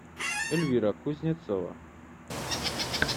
эльвира кузнецова